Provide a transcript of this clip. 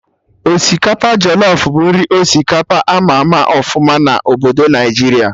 Osikapa jọlọf bụ nri osikapa ama ama ọfụma na obodo Naijiria